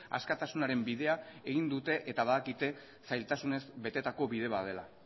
askatasunaren bidea egin dute eta badakite zailtasunez betetako bide bat dela